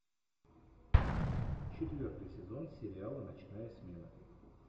четвертый сезон сериала ночная смена